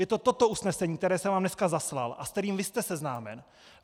Je to toto usnesení , které jsem vám dneska zaslal a se kterým vy jste seznámen.